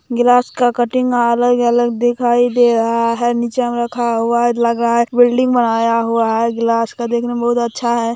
Glass का cutting अलग-अलग दिखाई दे रहा है नीचे में रखा हुआ है लग रहा है बिल्डिंग बनाया हुआ है ग्लास का देखने में बहुत अच्छा है।